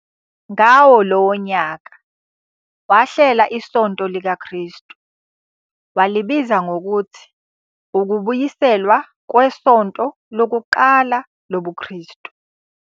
Ngawo lowo nyaka wahlela iSonto likaKristu, walibiza ngokuthi ukubuyiselwa kwesonto lokuqala lobuKristu.